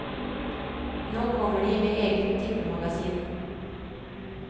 Nå kommer de med eget tippemagasin.